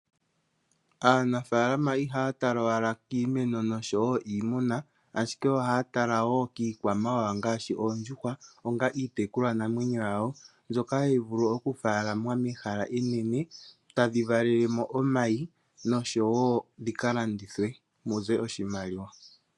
Aanafaalama ihaya tala owala kiimeno noshowo kiimuna, ashike ohaya tala wo kiikwamawawa ngaashi oondjuhwa, onga iitekulwanamwenyo yawo, mbyoka hayi vulu okufaalamwa mehala enene tadhi valele mo omayi nosho wo dhi ka landithwe mu ze oshimaliwa.